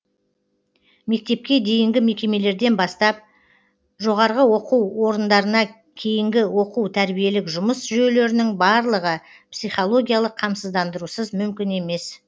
мектепке дейінгі мекемелерден бастап жоғарғы оқу органдарына кейінгі оқу тәрбиелік жұмыс жүйелерінің барлығы психологиялық қамсыздандырусыз мүмкін емес